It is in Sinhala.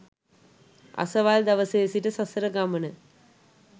අසවල් දවසේ සිට සසර ගමන